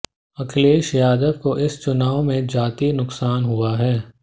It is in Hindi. अखिलेश यादव को इस चुनाव में जाती नुकसान हुआ है